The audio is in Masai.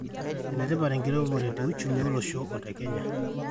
enetipat enkiremore te uchumi olosho le Kenya